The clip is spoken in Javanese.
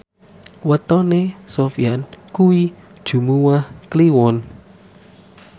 wetone Sofyan kuwi Jumuwah Kliwon